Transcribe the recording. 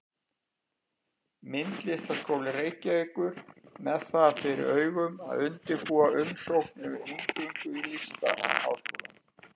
Myndlistarskóla Reykjavíkur með það fyrir augum að undirbúa umsókn um inngöngu í Listaháskólann.